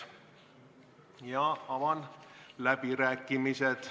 Avan läbirääkimised.